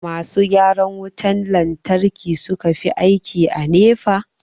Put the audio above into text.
masu gyaran wutan lantarki suka fi aiki a NEPA